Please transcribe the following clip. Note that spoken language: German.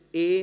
Punkt e: